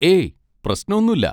ഏയ്, പ്രശ്നൊന്നും ഇല്ല.